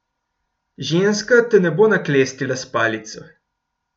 Ženska te ne bo naklestila s palico.